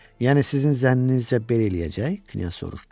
Yəni sizin zənninizcə belə eləyəcək, Knyaz soruşdu.